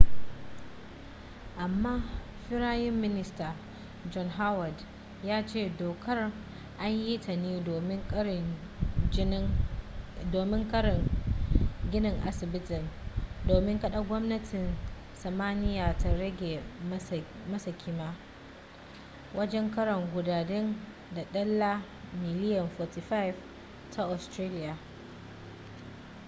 amma firayim minista john howard ya ce dokar an yi ta ne domin kare ginin asibitin domin kada gwamnatin tasmania ta rage masa kima wajen kara kudaden da dala miliyan 45 ta australiya